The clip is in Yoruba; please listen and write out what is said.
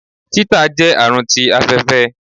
títà jẹ àrùn tí afẹfẹ